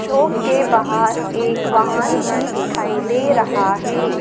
Shop के बाहर एक वाहन भी दिखाई दे रहा है।